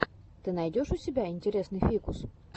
ты найдешь у себя интересный фикус